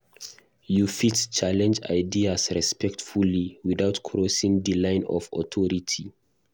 You fit challenge ideas respectfully without crossing di line of authority.